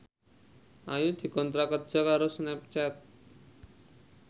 Ayu dikontrak kerja karo Snapchat